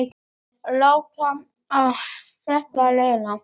Láta á þetta reyna.